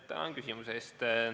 Tänan küsimuse eest!